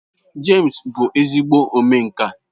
James bu ezigbo omenka.